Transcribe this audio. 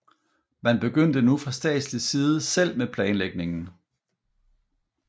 Man begyndte nu fra statslig side selv med planlægningen